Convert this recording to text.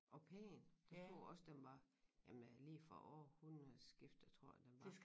Og pæn der stod også den var jamen lige fra århundredeskiftet tror jeg den var